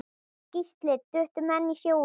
Gísli: Duttu menn í sjóinn?